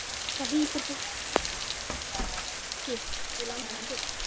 En það hlýtur fólkið í landinu að gera.